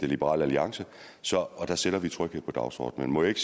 liberal alliance sætter vi tryghed på dagsordenen må jeg ikke